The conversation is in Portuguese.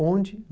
Onde?